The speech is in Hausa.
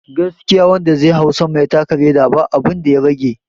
Gaskiya wanda zai hau sama ya taka leda ba abinda ya rage